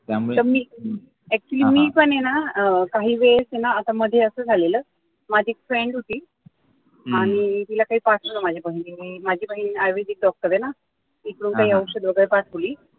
तर मी actually मी पण आहे ना अह काही वेळेस न असं मध्ये असं झालेल माझी एक friend होती आणि तिला काही पाठवल माझ्या बहिणीने माझी बहीण आयुर्वेदिक doctor आहे न तिकडून काही औषध वगैरे पाठवली.